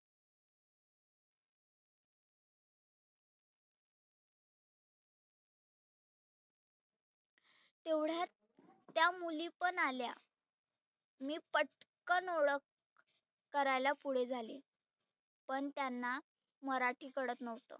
तेव्हढ्यात त्या मुली पण आल्या मी पटकन ओळख करायला पुढे झाले. पण त्यांना मराठी कळत नव्हतं.